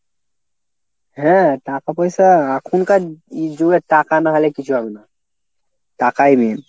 হ্যাঁ টাকা পয়সা এখনকার ই যুগে টাকা না হলে কী চলে না। টাকাই main.